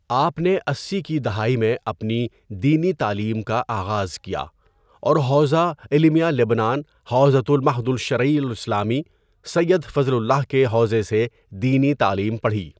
آپ نے اسی کی دہائی میں اپنی دینی تعلیم کا آغاز کیا اور حوزہ علمیہ لبنان حوزة المعهد الشرعي الاسلامي سید فضل اللہ کے حوزے سے دینی تعلیم پڑھی.